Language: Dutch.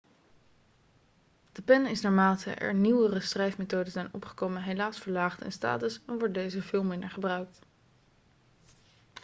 de pen is naarmate er nieuwere schrijfmethoden zijn opgekomen helaas verlaagd in status en wordt deze veel minder gebruikt